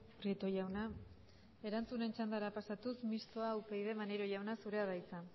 prieto jauna erantzunen txandara pasatuz mistoa upyd maneiro jauna zurea da hitza